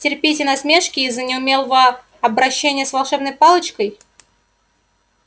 терпите насмешки из-за неумелого обращения с волшебной палочкой